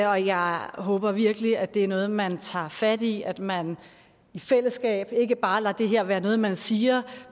og jeg håber virkelig at det er noget man tager fat i at man i fællesskab ikke bare lader det her være noget man siger